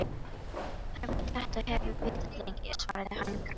Hann veit þetta og hefur vitað lengi, svaraði hann gramur.